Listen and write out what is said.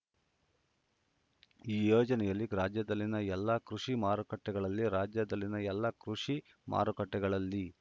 ಈ ಯೋಜನೆಯಲ್ಲಿ ರಾಜ್ಯದಲ್ಲಿನ ಎಲ್ಲಾ ಕೃಷಿ ಮಾರುಕಟ್ಟೆಗಳಲ್ಲಿ ರಾಜ್ಯದಲ್ಲಿನ ಎಲ್ಲಾ ಕೃಷಿ ಮಾರುಕಟ್ಟೆಗಳಲ್ಲಿ